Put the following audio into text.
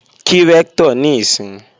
Kí Rẹ́ktọ̀ níìsín!